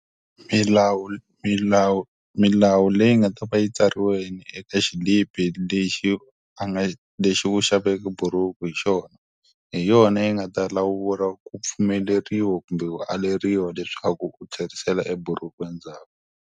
Milawu milawu milawu leyi nga ta va yi tsariwe eka xilipi lexi a nga lexi u xaveke bhuruku hi xona, hi yona yi nga ta lawula ku pfumeleriwa kumbe ku aleriwa leswaku u tlherisela eburuku endzhaku.